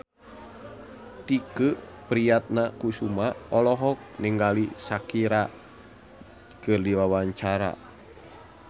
Tike Priatnakusuma olohok ningali Shakira keur diwawancara